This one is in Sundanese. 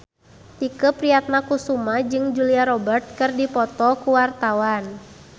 Tike Priatnakusuma jeung Julia Robert keur dipoto ku wartawan